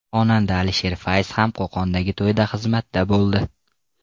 Xonanda Alisher Fayz ham Qo‘qondagi to‘yda xizmatda bo‘ldi.